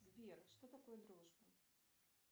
сбер что такое дружба